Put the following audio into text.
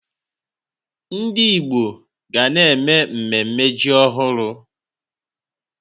Ndị Igbo ga na-eme mmemme ji ọhụrụ.